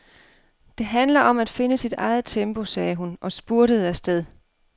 Det handler om at finde sit eget tempo, sagde hun og spurtede afsted.